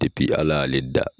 Depi Ala y'ale dan